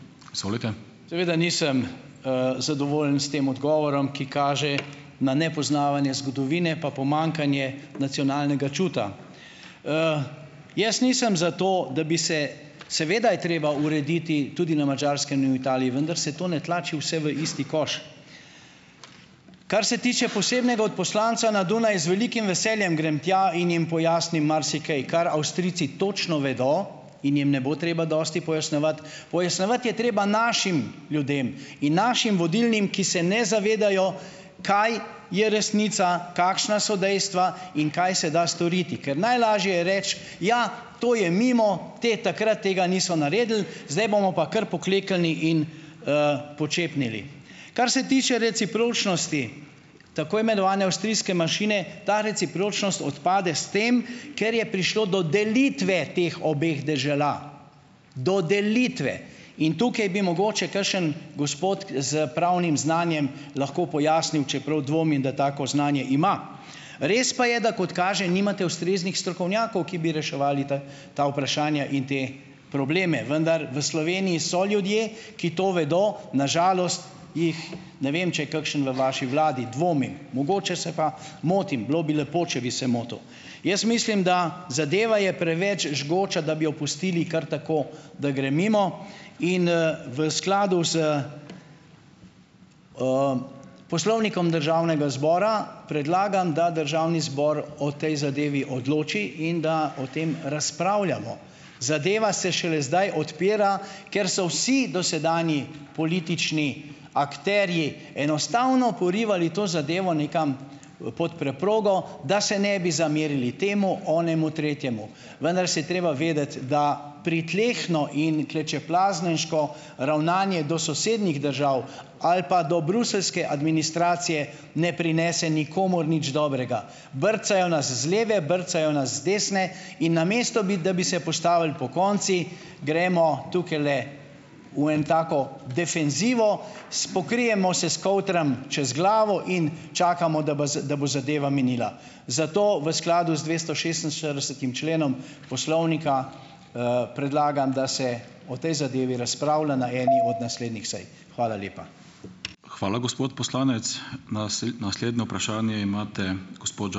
Seveda nisem, zadovoljen s tem odgovorom, ki kaže na nepoznavanje zgodovine pa pomanjkanje nacionalnega čuta. Jaz nisem za to, da bi se, seveda je treba urediti tudi na Madžarskem in v Italiji, vendar se to ne tlači vse v isti koš. Kar se tiče posebnega odposlanca na Dunaj, z velikim veseljem grem tja in jim pojasnim marsikaj, kar Avstrijci točno vedo in jim ne bo treba dosti pojasnjevati. Pojasnjevati je treba našim ljudem in našim vodilnim, ki se ne zavedajo, kaj je resnica, kakšna so dejstva in kaj se da storiti. Ker najlažje je reči, ja, to je mimo, te, takrat tega niso naredili zdaj bomo pa kar pokleknili in, počepnili. Kar se tiče recipročnosti tako imenovane avstrijske manjšine, ta recipročnost odpade s tem, ker je prišlo do delitve teh obeh dežel, do delitve, in tukaj bi mogoče kakšen gospod k s pravnim znanjem lahko pojasnil, čeprav dvomim, da tako znanje ima. Res pa je, da kot kaže nimate ustreznih strokovnjakov, ki bi reševali te, ta vprašanja in te probleme, vendar v Sloveniji so ljudje, ki to vedo, na žalost jih, ne vem, če je kakšen v vaši vladi - dvomim, mogoče se pa motim. Bilo bi lepo, če bi se motil. Jaz mislim, da zadeva je preveč žgoča, da bi jo pustili kar tako, da gre mimo in, v skladu s, Poslovnikom Državnega zbora predlagam, da državni zbor o tej zadevi odloči in da o tem razpravljamo. Zadeva se šele zdaj odpira, ker so vsi dosedanji politični akterji enostavno porivali to zadevo nekam, pod preprogo, da se ne bi zamerili temu, onemu, tretjemu. Vendar se je treba vedeti, da pritlehno in klečeplazniško ravnanje do sosednjih držav ali pa do bruseljske administracije, ne prinese nikomur nič dobrega. Brcajo nas z leve, brcajo nas z desne in namesto bi, da bi se postavili pokonci, gremo tukajle v en tako defenzivo, s pokrijemo se s kovtrom čez glavo in čakamo, da bi da bo zadeva minila. Zato v skladu z dvestošestinštiridesetim členom poslovnika, predlagam, da se o tej zadevi razpravlja na eni od naslednjih sej. Hvala lepa.